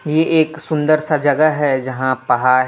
ये एक सुंदर सा जगह है जहां पहाड़ है।